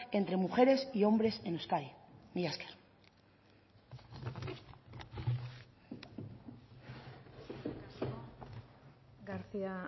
entre mujeres y hombres en euskadi mila esker eskerrik asko garcía